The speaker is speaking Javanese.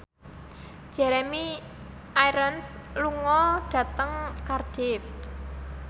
Jeremy Irons lunga dhateng Cardiff